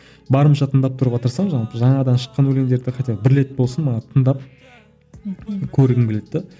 барынша тыңдап тұруға тырысамын жалпы жаңадан шыққан өлеңдерді хотя бы бір рет болсын мана тыңдап мхм көргім келеді де